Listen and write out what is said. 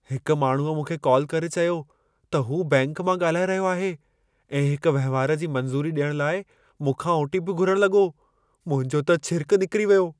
हिक माण्हूअ मूंखे कॉल करे चयो त हू बैंक मां ॻाल्हाए रहियो आहे ऐं हिक वहिंवार जी मंज़ूरी ॾियण लाइ मूंखां ओ.टी.पी. घुरण लॻो। मुंहिंजो त छिरिकु निकरी वियो।